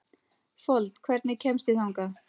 Fold, hvernig kemst ég þangað?